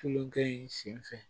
Tulukɛ in senfɛ